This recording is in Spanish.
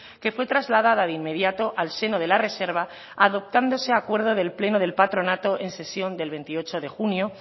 que fue trasladada de inmediato al seno de la reserva adoptándose acuerdo del pleno del patronato en sesión del veintiocho de junio